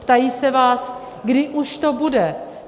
Ptají se vás: kdy už to bude?